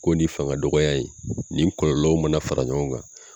Ko nin fanga dɔgɔya in nin kɔlɔlɔw mana fara ɲɔgɔn kan